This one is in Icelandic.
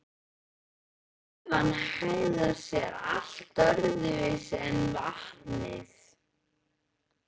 Gufan hegðar sér allt öðruvísi en vatnið.